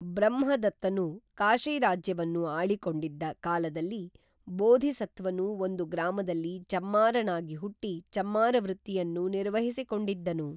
ಬ್ರಹ್ಮದತ್ತನು ಕಾಶೀರಾಜ್ಯವನ್ನು ಆಳಿಕೊಂಡಿದ್ದ ಕಾಲದಲ್ಲಿ ಬೋಧಿಸತ್ವನು ಒಂದು ಗ್ರಾಮದಲ್ಲಿ ಚಮ್ಮಾರನಾಗಿ ಹುಟ್ಟಿ ಚಮ್ಮಾರ ವೃತ್ತಿಯನ್ನು ನಿರ್ವಹಿಸಿಕೊಂಡಿದ್ದನು